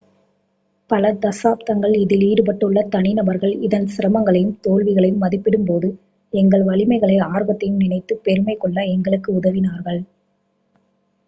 பல தசாப்தங்களாக இதில் ஈடுபட்டுள்ள தனிநபர்கள் இதன் சிரமங்களையும் தோல்விகளையும் மதிப்பிடும்போது எங்கள் வலிமைகளையும் ஆர்வத்தையும் நினைத்துப் பெருமைகொள்ள எங்களுக்கு உதவினார்கள்